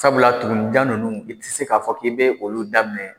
Sabula tugunninjan ninnu i tɛ se k'a fɔ k'i bɛ olu daminɛ